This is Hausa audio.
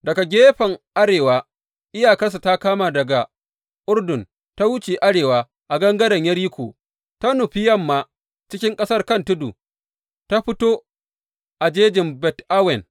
Daga gefen arewa, iyakarsu ta kama ne daga Urdun, ta wuce arewa a gangaren Yeriko, ta nufi yamma cikin ƙasar kan tudu, ta fito a jejin Bet Awen.